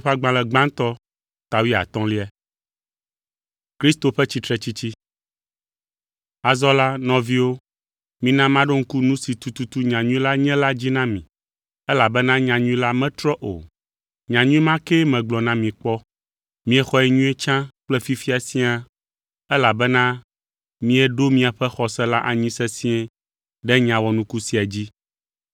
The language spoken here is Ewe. Azɔ la, nɔviwo, mina maɖo ŋku nu si tututu nyanyui la nye la dzi na mi elabena nyanyui la metrɔ o; nyanyui ma kee megblɔ na mi kpɔ. Miexɔe nyuie tsã kple fifia siaa elabena mieɖo miaƒe xɔse la anyi sesĩe ɖe nya wɔnuku sia dzi.